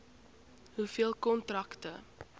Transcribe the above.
hoeveel kontrakte